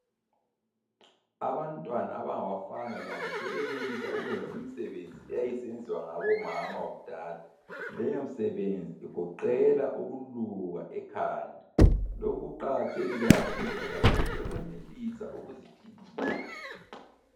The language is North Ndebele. Abantwana abangabafana labo sebenelisa ukuyenza imisebenzi eyayisenziwa ngabomama kudala. Leyo msebenzi igoqela ukuluka ekhanda, lokhu kuqakathekile kakhulu ngoba labo sebenelisa ukuziphilisa